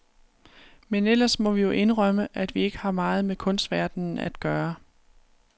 Men ellers må vi jo indrømme, at vi ikke har meget med kunstverdenen at gøre.